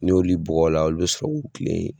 N'oli bugɔ la olu bɛ sɔrɔ k'u kilen.